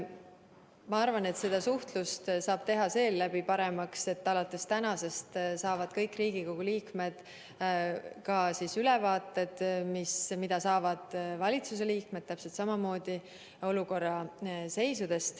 Ma arvan, et seda suhtlust saab teha selle abil paremaks, et alates tänasest saavad ka kõik Riigikogu liikmed samad ülevaated olukorrast, mida saavad valitsuse liikmed.